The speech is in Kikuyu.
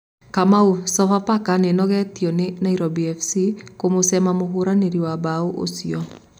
Kamau:Sofapaka nĩnogetio nĩ Nairobi fc kũmũcema mũhũranĩri wa mbao ũcio